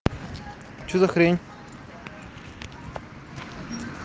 что за хрень